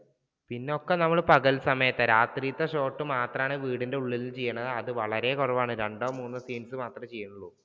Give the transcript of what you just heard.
പിന്നെ ഒക്കെ നമ്മൾ പകല് സമയത്താണ് രാത്രിയിലത്തെ shot മാത്രമാണ് വീടിന്റെ ഉള്ളിൽ ചെയ്യുന്നത് അത് വളരെ കുറവാണ് രണ്ടോ മൂന്നോ scenes മാത്രമേ ചെയ്യുന്നുള്ളു.